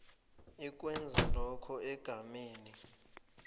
ikwenza lokho egameni